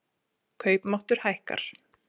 Kaupmáttur hækkar